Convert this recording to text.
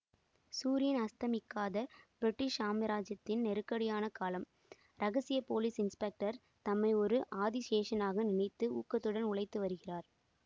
சூரியன் அஸ்தமிக்காத பிரிட்டிஷ் சாம்ராஜ்யத்தின் நெருக்கடியான காலம் இரகசிய போலீஸ் இன்ஸ்பெக்டர் தம்மை ஒரு ஆதிசேஷனாக நினைத்து ஊக்கத்துடன் உழைத்து வருகிறார்